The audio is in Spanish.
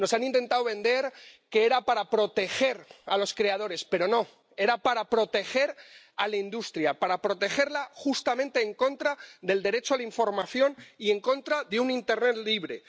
Nos han intentado vender que era para proteger a los creadores, pero no era para proteger a la industria, para protegerla justamente en contra del derecho a la información y en contra de un internet libre.